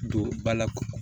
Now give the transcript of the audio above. Don ba la